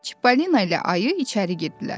Çippolino ilə ayı içəri girdilər.